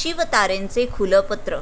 शिवतारेंचं खुलं पत्र